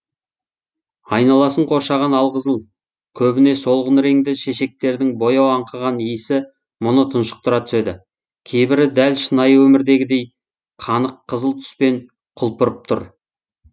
айналасын қоршаған алқызыл көбіне солғын реңді шешектердің бояу аңқыған иісі мұны тұншықтыра түседі кейбірі дәл шынайы өмірдегідей қанық қызыл түспен құлпырып тұр